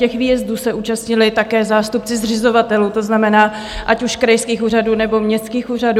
Těch výjezdů se účastnili také zástupci zřizovatelů, to znamená ať už krajských úřadů, nebo městských úřadů.